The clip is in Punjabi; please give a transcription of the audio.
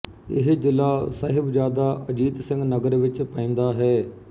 ਇਹ ਜ਼ਿਲ੍ਹਾ ਸਹਿਬਜ਼ਾਦਾ ਅਜੀਤ ਸਿੰਘ ਨਗਰ ਵਿੱਚ ਪੈਂਦਾ ਹੈ